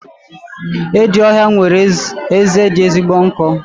Edi ọhịa nwere eze dị ezigbo nkọ.